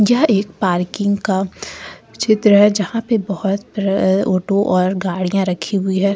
यह एक पार्किंग का चित्र है जहां पे बहोत अ ऑटो और गाड़ियां रखी हुई है।